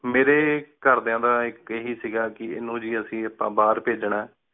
ਮੇਰੀ ਘਰ ਦਯਾ ਦਾ ਇਕ ਇਹੀ ਸੀਗਾ ਕੀ ਏਨੁ ਗੀ ਅੱਸੀ ਆਪਾ ਬਾਹਰ ਭੇਜਣਾ ਹੈ।